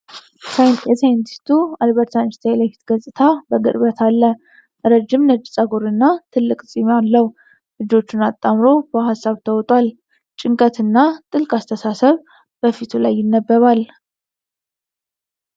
የሳይንቲስቱ አልበርት አንስታይን የፊት ገጽታ በቅርበት አለ። ረጅም ነጭ ፀጉርና ትልቅ ፂም አለው። እጆቹን አጣምሮ በሀሳብ ተውጧል። ጭንቀት እና ጥልቅ አስተሳሰብ በፊቱ ላይ ይነበባል።